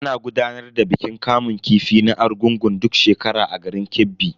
Ana gudanar da bikin kamun kifi na Argungun duk shekara a garin Kebbi.